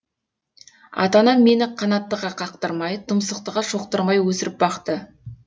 ата анам мені қанаттыға қақтырмай тұмсықтыға шоқтырмай өсіріп бақты